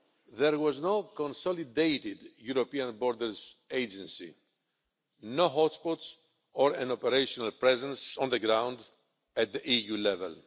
There was no consolidated European borders agency, no hot spots or an operational presence on the ground at the EU level.